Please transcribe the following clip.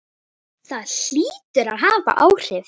Það hlýtur að hafa áhrif.